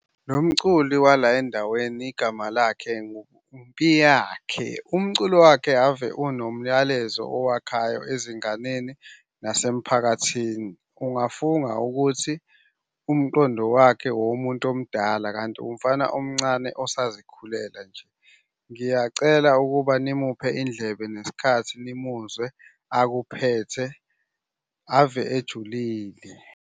Lo mculi wala endaweni igama lakhe nguMpiyakhe. Umculo wakhe ave unomlayezo owakhayo ezinganeni nasemphakathini. Ungafunga ukuthi umqondo wakhe owomuntu omdala, kanti umfana omncane osazikhulela nje. Ngiyacela ukuba nimuphe indlebe nesikhathi nimuzwe akuphethe. Ave ejulile.